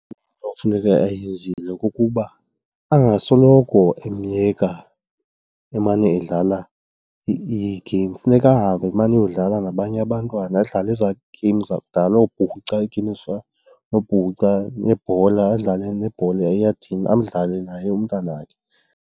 Into ekufuneka eyenzile kukuba angasoloko emyeka emane edlala ii-games. Funeka ahambe amane ayodlala nabanye abantwana adlala ezaa games zakudala, oopuca, i-game ezifana noopuca nebhola, adlale nebhola eyadini, adlale naye umntanakhe.